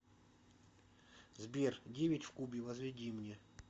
сбер девять в кубе возведи мне